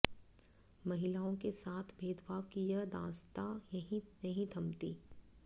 महिलाओं के साथ भेदभाव की यह दास्तां यहीं नहीं थमती